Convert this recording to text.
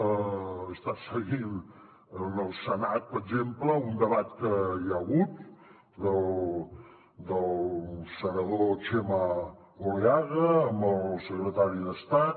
he estat seguint en el senat per exemple un debat que hi ha hagut del senador txema oleaga amb el secretari d’estat